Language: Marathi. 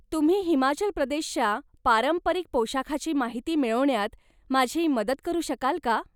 तुम्ही हिमाचल प्रदेशच्या पारंपरिक पोशाखाची माहिती मिळवण्यात माझी मदत करू शकाल का?